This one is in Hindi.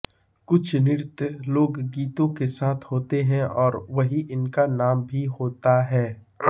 कुछ नृत्य लोकगीतों के साथ होते हैं और वही इनका नाम भी होता है